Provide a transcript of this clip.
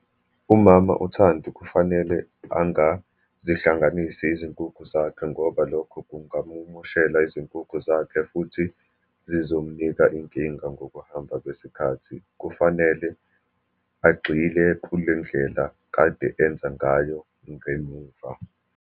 UMama uThandi kufanele angazihlanganisi izinkukhu zakhe, ngoba lokho kungamumoshela izinkukhu zakhe, futhi zizomnika inkinga ngokuhamba kwesikhathi. Kufanele agxile kule ndlela kade enza ngayo ngemuva.